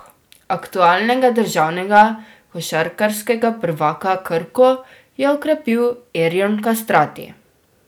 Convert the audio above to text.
Aktualnega državnega košarkarskega prvaka Krko je okrepil Erjon Kastrati.